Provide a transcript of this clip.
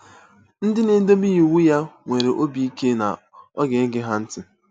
Ndị na-edebe iwu ya nwere obi ike na ọ ga-ege ha ntị.